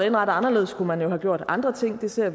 indrettet anderledes kunne man jo have gjort andre ting vi ser